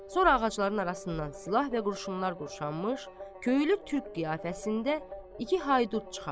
Sonra ağacların arasından silah və qurşunlar qurşanmış, köylü türk qiyafəsində iki Haydut çıxar.